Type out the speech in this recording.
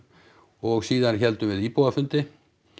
og síðan héldum við íbúafundi